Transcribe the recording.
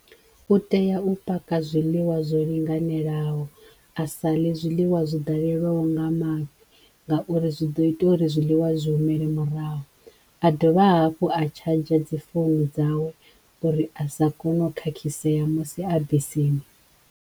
U teya u paka zwiḽiwa zwo linganelaho a sa ḽe zwiḽiwa zwo ḓalelwaho nga maḓi ngauri zwi ḓo ita uri zwiḽiwa zwi humele murahu a dovha hafhu a charger dzi founu dzawe uri a sa kone u khakhisea musi a bisini.